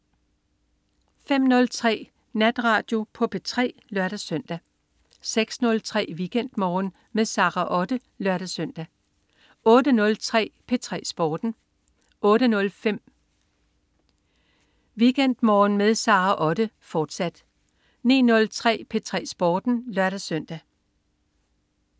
05.03 Natradio på P3 (lør-søn) 06.03 WeekendMorgen med Sara Otte (lør-søn) 08.03 P3 Sporten 08.05 WeekendMorgen med Sara Otte, fortsat 09.03 P3 Sporten (lør-søn)